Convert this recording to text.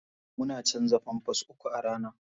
Muna canza pampers uku a rana.